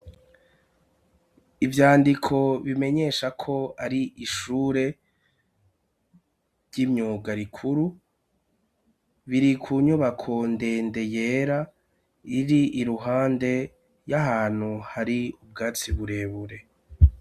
Ivyandiko bimenyesha ko ari ishure ry'imyuga rikuru, biri ku nyubako ndende yera iri iruhande y'ahantu hari ubwatsi burebure.